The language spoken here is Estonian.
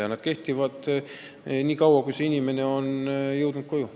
Ja nad kehtivad nii kaua, kuni inimene on koju jõudnud.